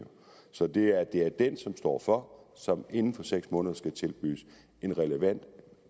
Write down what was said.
så det er det er den som står for som inden for seks måneder skal tilbydes en relevant